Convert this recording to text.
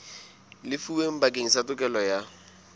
lefuweng bakeng sa tokelo ya